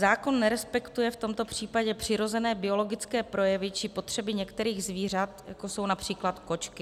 Zákon nerespektuje v tomto případě přirozené biologické projevy či potřeby některých zvířat, jako jsou například kočky.